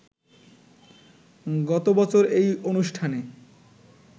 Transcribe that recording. গত বছর এই অনুষ্ঠানে